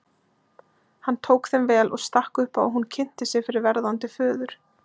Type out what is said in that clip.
Hann tók þeim vel og stakk upp á að hún kynnti sig fyrir verðandi föður.